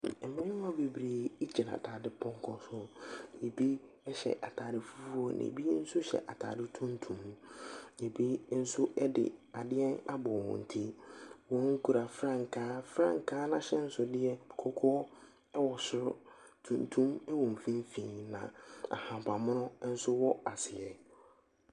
Mmarima bebree gyina dadepɔnkɔ so, bi hyɛ ataade fufuo, na bi nso hyɛ ataade tuntum, bi nso de adeɛ abɔ wɔn ti. Wɔkura frankaa. Frankaa no ahyɛnsodeɛ no, kɔkɔɔ wɔ soro, tuntum wɔ mfimfin na ahabanmono nso wɔ aseɛ.